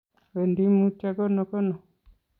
wendi mutyo konokono.